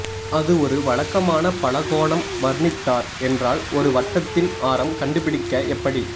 அது ஒரு வழக்கமான பலகோணம் வர்ணித்தார் என்றால் ஒரு வட்டத்தின் ஆரம் கண்டுபிடிக்க எப்படி